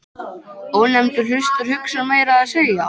Ónefndur hlustar, hugsar meira að segja.